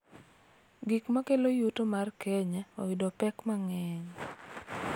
Gik ma kelo yuto mar Kenya oyudo pek mang�eny